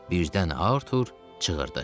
Birdən Artur çığırdı.